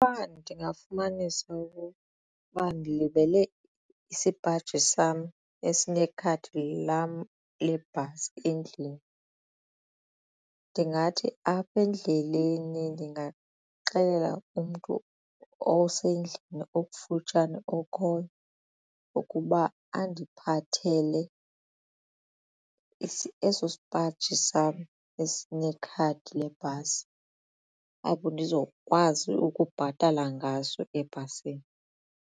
Xa ndingafumanisa okokuba ndilibele isipaji sam esinekhadi lam lebhasi endlini ndingathi apha endleleni ndingaxelela umntu osendlini okufutshane okhoyo ukuba andiphathele eso sipaji sam esinekhadi lebhasi apho ndizokwazi ukubhatala ngaso ebhasini.